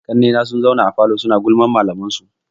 Ƙannai na sun zauna a falo suna gulman malaman su.